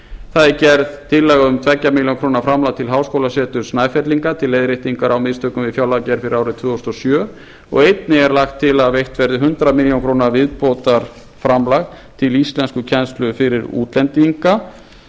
það er gerð tillaga um tvær milljónir króna framlag til háskólaseturs snæfellinga til leiðréttingar á mistökum á fjárlagagerð fyrir árið tvö þúsund og sjö og einnig er lagt til að veitt verði hundrað milljónir króna viðbótarframlag til íslenskukennslu fyrir útlendinga